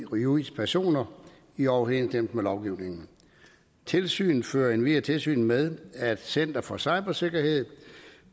og juridiske personer i overensstemmelse med lovgivningen tilsynet fører endvidere tilsyn med at center for cybersikkerhed